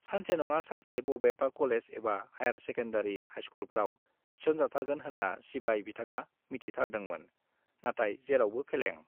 सानसे नङा सानसे बबेबा कलेज एबा हाइयार सेकेन्डारी, हाइस्कुलफ्राव थिसनजाथारगोन होन्ना सिबाय बिथांआ मिजिंथिथारदोंमोन, नाथाय जेरावबो फेलें।